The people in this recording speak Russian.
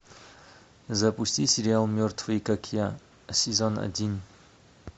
запусти сериал мертвые как я сезон один